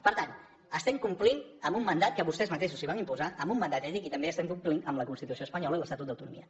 per tant estem complint amb un mandat que vostès mateixos es van imposar amb un mandat ètic i també estem complint amb la constitució espanyola i l’estatut d’autonomia